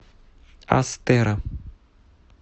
астера